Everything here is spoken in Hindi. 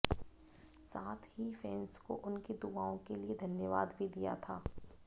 साथ ही फैन्स को उनकी दुआओं के लिए धन्यवाद भी दिया था